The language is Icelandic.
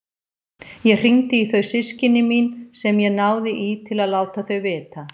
Ég hringdi í þau systkini mín sem ég náði í til að láta þau vita.